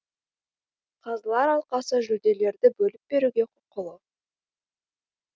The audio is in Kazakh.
қазылар алқасы жүлделерді бөліп беруге құқылы